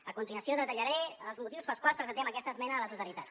a continuació detallaré els motius pels quals presentem aquesta esmena a la totalitat